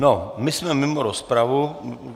No, my jsme mimo rozpravu.